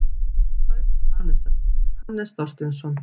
Kauphöll Hannesar, Hannes Þorsteinsson.